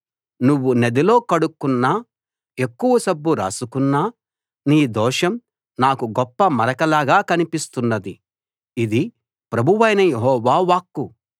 నువ్వు నదిలో కడుక్కున్నా ఎక్కువ సబ్బు రాసుకున్నా నీ దోషం నాకు గొప్ప మరకలాగా కనిపిస్తున్నది ఇది ప్రభువైన యెహోవా వాక్కు